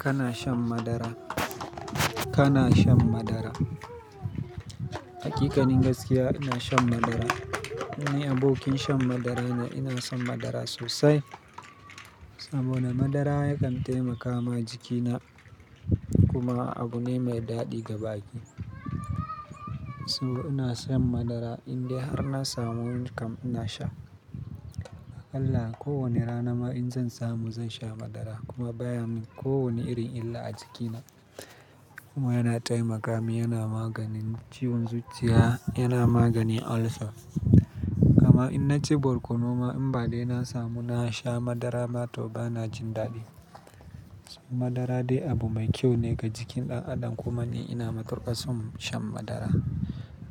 Kana shan madara? Kana shan madara? Hakikanin gaskiya ina shan madara. Ni abokin shan madara ne, ina son madara sosai. Saboda madara yakan taimaka ma jikina kuma abu ne mai daɗi ga bakin. So ina shan madara indai har na samu kam ina sha. Akalla kowane rana ma in zan samu zan sha madara kuma baya mun kowane irin illa a jikina. Kuma yana taimaka mini yana maganin ciwon zuciya, yana maganin ulcers. Gama in na ci borkono ma in ba dai na samu na sha madara ma to bana jin daɗi. Madara dai abu mai kyau ne ga jikin ɗaɗan kuma ni ina matukar son shan madara.